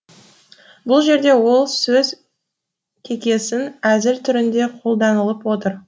бұл жерде ол сөз кекесін әзіл түрінде қолданылып отыр